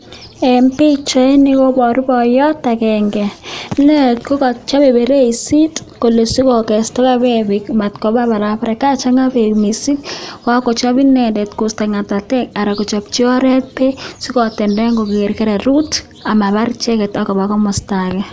En pichaini koboru boyot akeng'e inendet ko kochope bereisit kolee sikokestakee beek matkobaa barabara kachang'a beek mising, kakochop inendet kosto ngatatek aran kochopchi oreet beek sikotenden koker kererut amabar icheket akoba komosto akee.